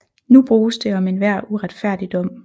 Nu bruges det om enhver uretfærdig dom